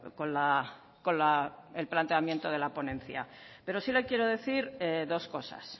con el planteamiento de la ponencia pero sí le quiero decir dos cosas